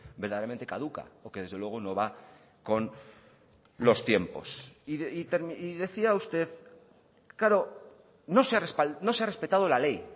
verdaderamente caduca o que desde luego no va con los tiempos y decía usted claro no se ha respetado la ley